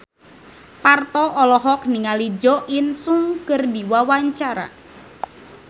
Parto olohok ningali Jo In Sung keur diwawancara